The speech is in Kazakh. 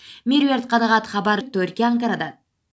меруерт қанағат хабар түркия анкарадан